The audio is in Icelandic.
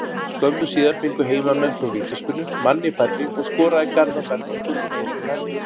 Skömmu síðar fengu heimamenn þó vítaspyrnu, manni færri, og skoraði Garðar Bergmann Gunnlaugsson úr henni.